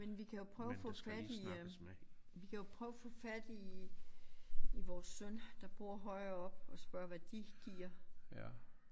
Men vi kan jo prøve at få fat i øh vi kan jo prøve at få fat i i vores søn der bor højere oppe og spørge hvad de giver